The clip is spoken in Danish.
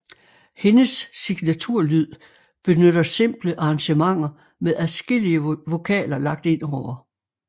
Hendes signaturlyd benytter simple arrangementer med adskillige vokaler lagt ind over